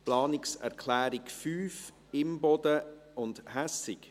Planungserklärung 5, Imboden und Hässig: